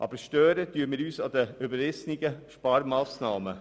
Aber wir stören uns an den überrissenen Sparmassnahmen.